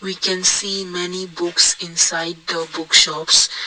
we can see many books inside the bookshops.